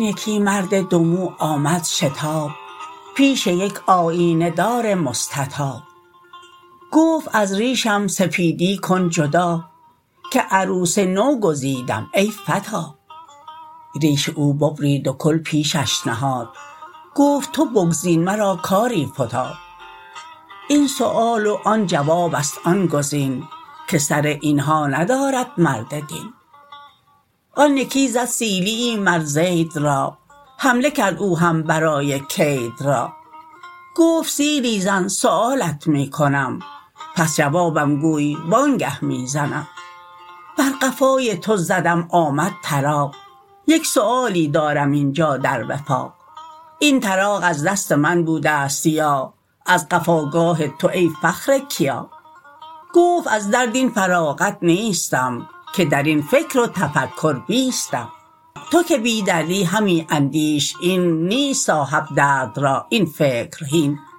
یکی مرد دومو آمد شتاب پیش یک آیینه دار مستطاب گفت از ریشم سپیدی کن جدا که عروس نو گزیدم ای فتی ریش او ببرید و کل پیشش نهاد گفت تو بگزین مرا کاری فتاد این سؤال و آن جوابست آن گزین که سر اینها ندارد درد دین آن یکی زد سیلیی مر زید را حمله کرد او هم برای کید را گفت سیلی زن سؤالت می کنم پس جوابم گوی وانگه می زنم بر قفای تو زدم آمد طراق یک سؤالی دارم اینجا در وفاق این طراق از دست من بودست یا از قفاگاه تو ای فخر کیا گفت از درد این فراغت نیستم که درین فکر و تفکر بیستم تو که بی دردی همی اندیش این نیست صاحب درد را این فکر هین